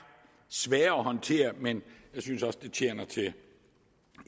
svære at håndtere men jeg synes også det tjener til